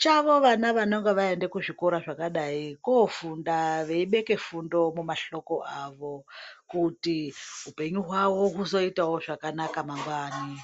chavo vanonga vaenda kuzvikora zvakadai kofunda veibeke fundo mumahloko avo kuti upenyu hwavo huzoitawo zvakanaka mangwanani.